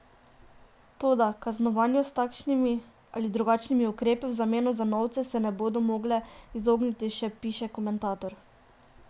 Toda: "kaznovanju" s takšnimi ali drugačnimi ukrepi v zameno za novce se ne bodo mogle izogniti, še piše komentator.